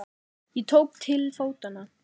Ég tók til fótanna.